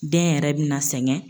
Den yɛrɛ bɛ na sɛgɛn.